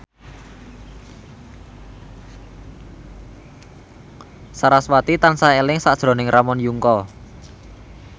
sarasvati tansah eling sakjroning Ramon Yungka